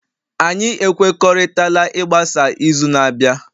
anyị ekwekọrịtala ịgbasa izu na-abịa